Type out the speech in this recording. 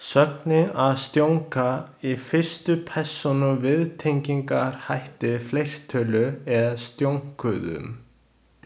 Sögnin „að stjónka“ í fyrstu persónu viðtengingarhætti, fleirtölu er „stjónkuðum“.